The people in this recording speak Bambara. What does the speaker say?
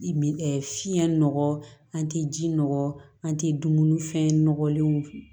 Min fiɲɛ nɔgɔ an tɛ ji nɔ an tɛ dumuni fɛn nɔgɔlenw